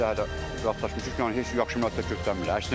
Neçə dəfə də rastlaşmışıq ki, heç yaxşı münasibət göstərmir.